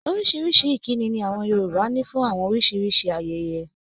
Orísìírísìí ìkíni ni àwọn Yorùbá ní fún oríṣiríṣi ayẹyẹ.